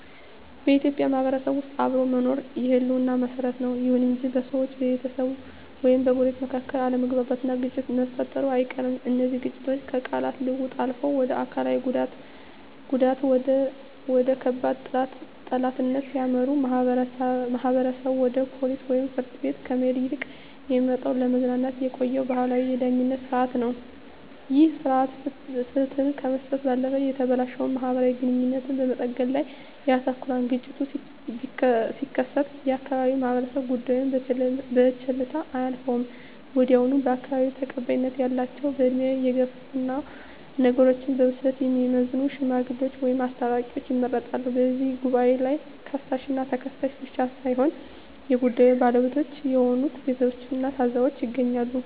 በኢትዮጵያ ማህበረሰብ ውስጥ አብሮ መኖር የህልውና መሰረት ነው። ይሁን እንጂ በሰዎች፣ በቤተሰብ ወይም በጎረቤቶች መካከል አለመግባባትና ግጭት መፈጠሩ አይቀርም። እነዚህ ግጭቶች ከቃላት ልውውጥ አልፈው ወደ አካላዊ ጉዳትና ወደ ከባድ ጠላትነት ሲያመሩ፣ ማህበረሰቡ ወደ ፖሊስ ወይም ፍርድ ቤት ከመሄድ ይልቅ የሚመርጠው ለዘመናት የቆየውን ባህላዊ የዳኝነት ሥርዓት ነው። ይህ ሥርዓት ፍትህ ከመስጠት ባለፈ የተበላሸውን ማህበራዊ ግንኙነት በመጠገን ላይ ያተኩራል። ግጭቱ ሲከሰት የአካባቢው ማህበረሰብ ጉዳዩን በቸልታ አያልፈውም። ወዲያውኑ በአካባቢው ተቀባይነት ያላቸው፣ በዕድሜ የገፉና ነገሮችን በብስለት የሚመዝኑ "ሽማግሌዎች" ወይም "አስታራቂዎች" ይመረጣሉ። በዚህ ጉባኤ ላይ ከሳሽና ተከሳሽ ብቻ ሳይሆኑ የጉዳዩ ባለቤቶች የሆኑት ቤተሰቦችና ታዘቢዎችም ይገኛሉ።